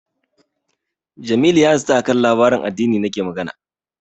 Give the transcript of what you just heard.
Jamilu ya zata a kan labaran addini nake magana.